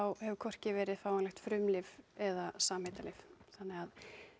hefur hvorki verið fáanlegt frumlyf eða samheitalyf þannig að